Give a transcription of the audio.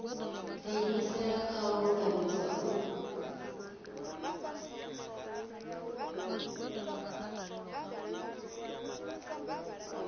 diimisela kha u lulamisa u